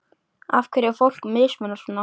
Af hverju er fólki mismunað svona?